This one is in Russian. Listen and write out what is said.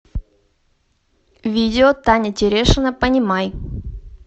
видео таня терешина понимай